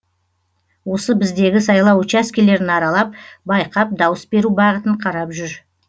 осы біздегі сайлау учаскелерін аралап байқап дауыс беру бағытын қарап жүр